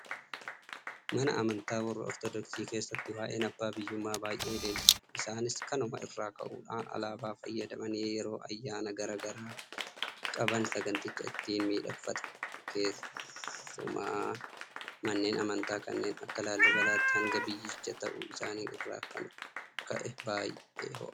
Mana amantaa warra Ortodoksii keessatti waa'een abbaa biyyummaa baay'ee leellifama. Isaanis kanuma irraa ka'uudhaan alaabaa fayyadamanii yeroo ayyaana garaa garaa qaban saganticha ittiin miidhakfatu. Keessumaa manneen amantaa kan akka laallibalaatti hanbaa biyyichaa ta'uu isaa irraa kan ka'e baay'ee ho'a.